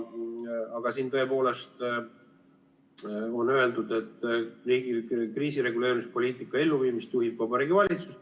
Aga siin on öeldud, et riigi kriisireguleerimispoliitika elluviimist juhib Vabariigi Valitsus.